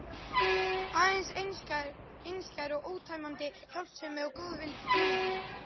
Aðeins einskær og ótæmandi hjálpsemi og góðvild Júlíu.